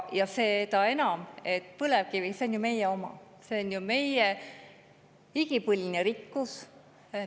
Seda enam, et põlevkivi on ju meie oma, see on meie igipõline rikkus.